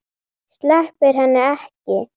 Sleppir henni ekki.